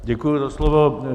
Děkuji za slovo.